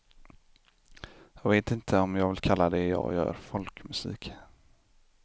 Jag vet inte om jag vill kalla det jag gör folkmusik.